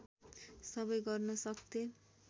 सबै गर्न सक्थेँ